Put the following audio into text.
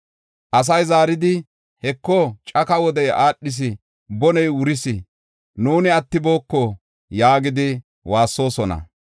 Asay zaaridi, “Heko caka wodey aadhis; boney wuris; nuuni attibooko” yaagidi waassoosona.